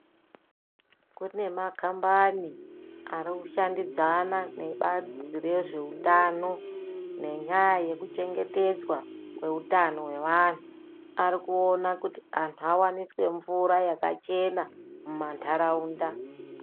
Kune makambani arikushandidzana nebazi rezvehutano nenyaya yekuchengetedzwa kwehutano hwevantu. Ari kuona kuti antu avaniswe mvura yakachena muma nharaunda.